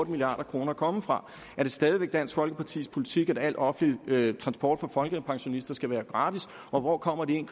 milliard kroner komme fra er det stadig væk dansk folkepartis politik at al offentlig transport for folkepensionister skal være gratis og hvor kommer de en